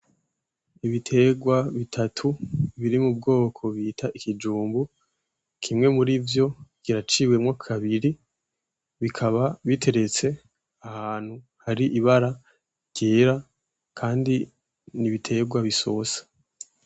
Ibitegwa bitatu biri mu bwoko bita ikijumbu, kimwe murivyo kiraciwemwo kabiri , bikaba biteretse ahantu hari ibara ryera kandi n'ibitegwa bisosa.